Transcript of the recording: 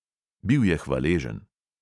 Bil je hvaležen.